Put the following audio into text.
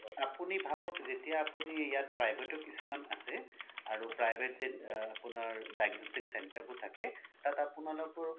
আপোনি ভাবক যেতিয়া আপোনি ইয়াত private ও কিছুমান আছে আৰু private আপোনাৰ diagnostic center বোৰ থাকে তাত আপোনালোকৰ